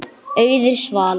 Auður Svala.